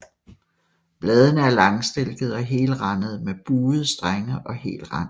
Bladene er langstilkede og helrandede med buede strenge og hel rand